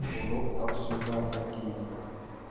बोलो अब स्वीकार है कि नहीं